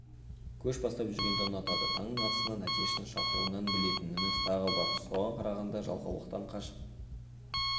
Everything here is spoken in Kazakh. көш бастап жүргенді ұнатады таңның атысын әтештің шақыруынан білетініміз тағы бар соған қарағанда жалқаулықтан қашып